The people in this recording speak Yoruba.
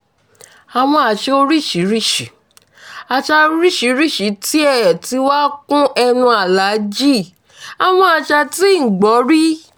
àwọn àṣà oríṣiríṣiì àṣà oríṣiríṣiì tiẹ̀ tí wàá kún ẹnu aláàjì àwọn àṣà tí n ò gbọ́ rí